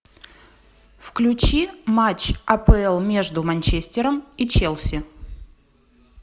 включи матч апл между манчестером и челси